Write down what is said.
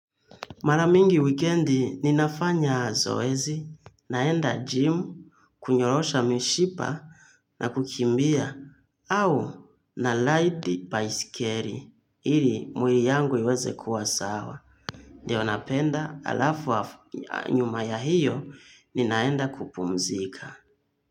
Mara mingi wikendi ninafanya zoezi, naenda gym, kunyorosha mishipa na kukimbia, au na ride baiskeli, ili mwili yangu iweze kuwa sawa. Ndiyo napenda alafu nyuma ya hiyo, ninaenda kupumzika.